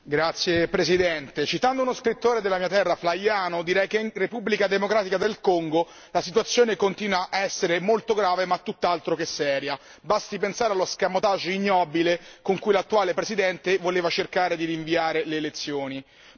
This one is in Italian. Signor Presidente, onorevoli colleghi, citando uno scrittore della mia terra, Flaiano, direi che nella Repubblica democratica del Congo la situazione continua a essere molto grave ma tutt'altro che seria. Basti pensare all'escamotage ignobile con cui l'attuale Presidente voleva cercare di rinviare le elezioni.